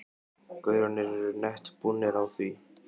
gaurarnir eru nett búnir á því.